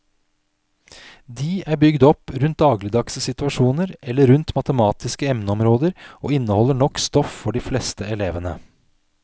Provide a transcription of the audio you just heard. De er bygd opp rundt dagligdagse situasjoner eller rundt matematiske emneområder og inneholder nok stoff for de fleste elevene.